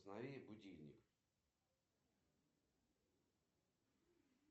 джой запиши меня на стрижку в ближайшей к работе парикмахерской